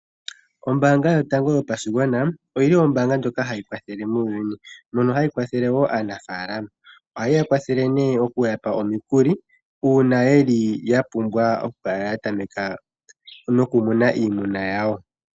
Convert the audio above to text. Ombaanga yotango yopashigwana oyili ombaanga ndjoka hayi kwathele muuyuni. Mono hayi kwathele wo aanafaalama. Ohayeya kwathele okuyakwathela okuya pa omikuli, hono haya vulu okukala yatameka nokumuna oohi dhawo.